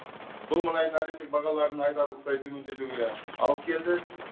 бұл мұнайдың әлемдік бағаларын айтарлықтай төмендетуге алып келді